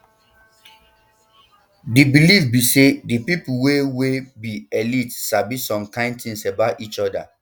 di believe be say di pipo wey wey be elite sabi some kain tins about each oda